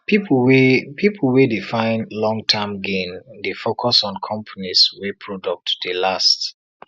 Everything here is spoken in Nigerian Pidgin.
people wey people wey dey find longterm gain dey focus on companies wey product dey last